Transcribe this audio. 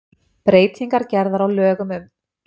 Breytingar gerðar á lögum um